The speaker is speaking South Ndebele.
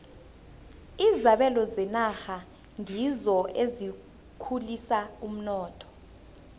izabelo zenarha ngizo ezikhulisa umnotho